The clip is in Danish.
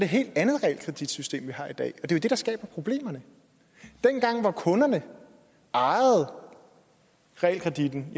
helt andet realkreditsystem vi har i dag og at det er det der skaber problemerne dengang hvor kunderne ejede realkreditten